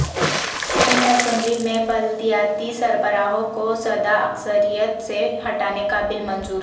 سندھ اسمبلی میں بلدیاتی سربراہوں کو سادہ اکثریت سے ہٹانے کا بل منظور